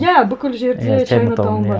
иә бүкіл жерде чайнатаун бар